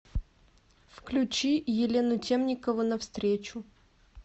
включи елену темникову навстречу